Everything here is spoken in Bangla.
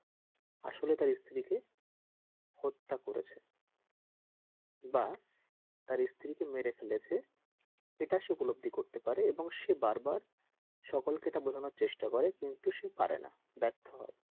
আসলে তার স্ত্রীকে হত্যা করেছে বা তার স্ত্রীকে মেরে ফেলেছে এটা সে উপলব্ধি করতে পারে এবং সে বার বার সকল কে সে এটা বুঝানোর চেষ্টা কিন্তু সে পারেনা ব্যর্থ হয়।